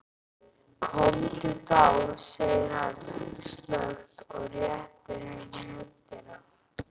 Komdu þá, segir hann snöggt og réttir henni höndina.